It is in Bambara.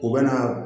U bɛ na